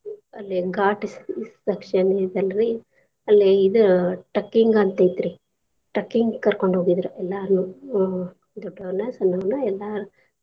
ಅಲ್ಲೆ ghat section ಐತೆಲ್ರಿ ಅಲ್ಲೆ ಇದು trekking ಅಂತ್ ಐತ್ರೀ trekking ಕರಕೊಂಡ್ ಹೋಗಿದ್ರೂ ಎಲ್ಲಾರ್ನೂ ಅ ದೊಡ್ಡೊರ್ನ ಸನ್ನೋರ್ನ ಎಲ್ಲಾರ್ನು.